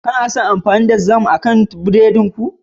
Kena son amfani da jam akan burodin ku?